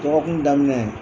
Dɔgɔkun daminɛ